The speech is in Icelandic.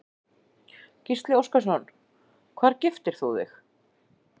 Gísli Óskarsson: Hvar giftir þú þig?